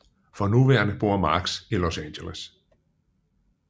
For nuværende bor Marx i Los Angeles